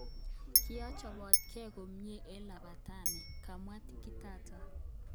Kiachopkei komyee eng labateeni, komwa Kitata